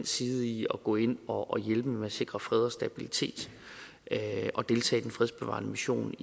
side i at gå ind og hjælpe med at sikre fred og stabilitet og deltage i den fredsbevarende mission